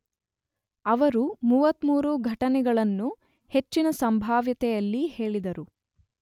ಅವರು 33 ಘಟನೆಗಳನ್ನು ಹೆಚ್ಚಿನ ಸಂಭಾವ್ಯತೆಯಲ್ಲಿ ಹೇಳಿದರು.